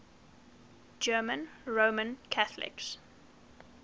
german roman catholics